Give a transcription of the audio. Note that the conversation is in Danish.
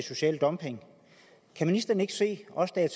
social dumping kan ministeren ikke se også da jeg